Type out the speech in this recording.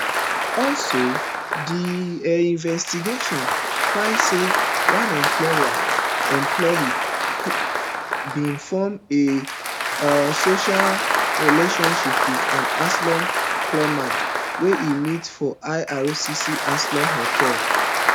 also di um investigation find say one employee employee bin form a um social relationship wit an asylum claimant wey e meet for ircc asylum hotel